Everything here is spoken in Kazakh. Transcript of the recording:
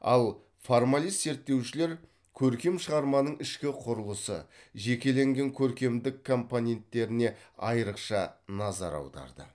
ал формалист зерттеушілер көркем шығарманың ішкі құрылысы жекеленген көркемдік компоненттеріне айрықша назар аударды